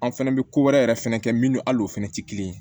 An fɛnɛ bɛ ko wɛrɛ yɛrɛ fɛnɛ kɛ minnu al'o fana tɛ kelen ye